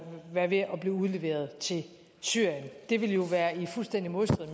være ved at blive udleveret til syrien det ville jo være i fuldstændig modstrid